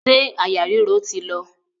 Ṣé àyà ríro ti lọ?